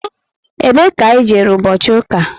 Ebe ka i jere ụbọchị ụka?